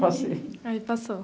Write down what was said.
Passei. Aí, passou (alivio)